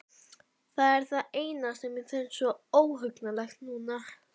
Það er það sem mér finnst svo óhugnanlegt núna.